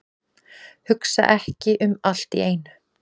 Hugsa ekki um allt í einu.